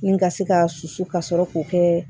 Ni ka se ka susu ka sɔrɔ k'o kɛ